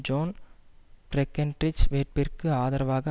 zone Breckinridge வேட்பிற்கு ஆதரவாக